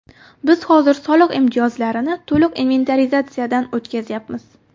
Biz hozir soliq imtiyozlarini to‘liq inventarizatsiyadan o‘tkazyapmiz.